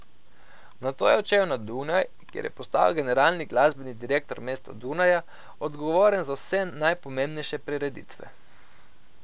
Nato je odšel na Dunaj, kjer je postal generalni glasbeni direktor mesta Dunaja, odgovoren za vse najpomembnejše prireditve.